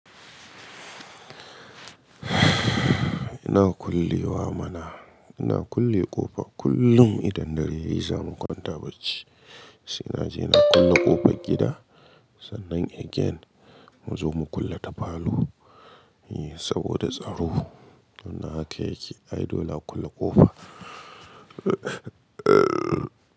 Ina kulle wa mana, ina kulle ƙofa kullum idan dare yayi zamu kwanta bacci. Sai naje na kulle ƙofar gida, sannan again mu zo mu kulle ta falo, yeah saboda tsaro. Wannan haka yake. Ai dole a kulle ƙofa.